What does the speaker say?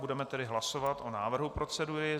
Budeme tedy hlasovat o návrhu procedury.